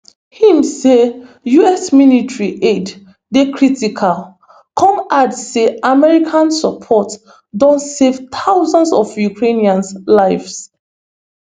im say us military aid dey critical come add say american support don save thousands of ukrainian lives